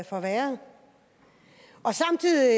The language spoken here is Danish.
forværret og samtidig